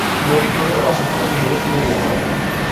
mũgithi ũrĩa ũracoka gũthiĩ nairobi ũgũka rĩ